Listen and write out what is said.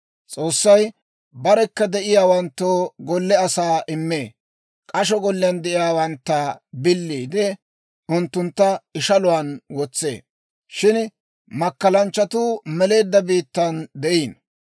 S'oossay barekka de'iyaawanttoo golle asaa immee. K'asho golliyaan de'iyaawantta biliide, unttuntta ishaluwaan wotsee. Shin makkalanchchatuu meleedda biittan de'iino.